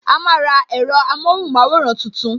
A máa ra ẹ̀rọ amóhùn maworan tuntun